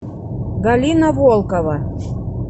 галина волкова